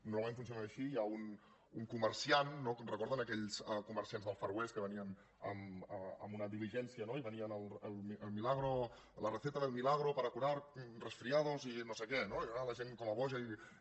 normalment funciona així hi ha un comerciant no recorden aquells comerciants del far west que venien amb una diligència i venien la receta del milagro para curar resfriados i no sé què no i anava la gent com a boja i